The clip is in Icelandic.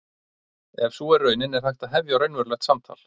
Ef sú er raunin er hægt að hefja raunverulegt samtal.